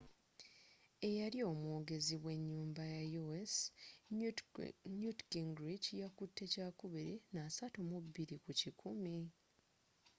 eyali omwogezi wenyumba ya u.s newt gingrich yakutte kyakubiri na 32 kukikumi